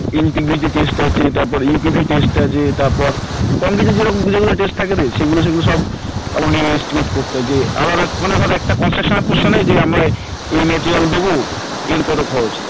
test আছে তারপর test আছে তারপর concrete এ যেগুলো যেগুলো test থাকে রে সেগুলো সেগুলো সব আমাকে estimate করতে হয় যে আবার মানে একটা construction এর portion এ এই material দেব এর কত খরচ